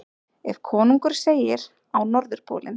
Ef konungur segir: Á Norðurpólinn!